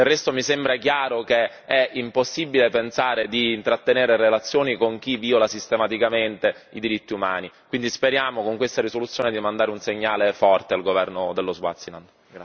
Del resto mi sembra chiaro che è impossibile pensare di intrattenere relazioni con chi viola sistematicamente i diritti umani, quindi speriamo con questa risoluzione di mandare un segnale forte al governo dello Swaziland.